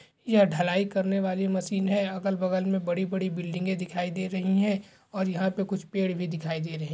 यह ढलाई करने वाली मशीन है अगल बगल में बड़ी बड़ी बिल्डिंगे दिखाई दे रही हैं और यहाँ पे कुछ पेड़ भी दिखाई दे रहे हैं।